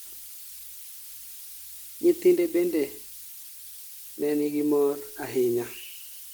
Nyithinde bende nen gi mor ahinya